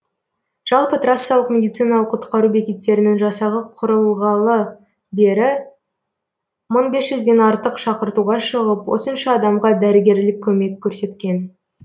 жалпы трассалық медициналық құтқару бекеттерінің жасағы құрылғалы бері мың бес жүзден артық шақыртуға шығып осынша адамға дәрігерлік көмек көрсеткен